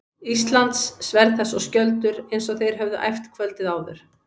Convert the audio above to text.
Íslands, sverð þess og skjöldur, eins og þeir höfðu æft kvöldið áður.